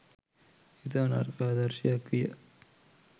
ඉතා නරක ආදර්ශයක් විය.